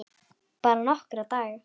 Bara nokkra daga.